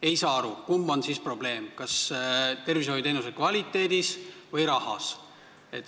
Ei saa aru, kummas on siis probleem: kas tervishoiuteenuse kvaliteedis või rahas?